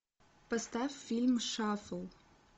поставь фильм шафл